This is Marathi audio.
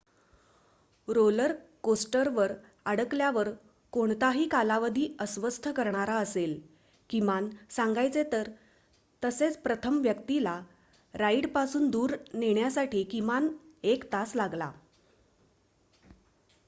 रोलर कोस्टरवर अडकल्यावर कोणताही कालावधी अस्वस्थ करणारा असेल किमान सांगायचे तर तसेच प्रथम व्यक्तीला राइडपासून दूर नेण्यासाठी त्याला किमान एक तास लागला